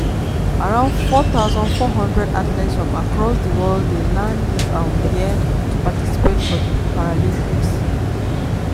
around four thousand four hundred athletes from across di world dey land dis um year to participate for di paralympics.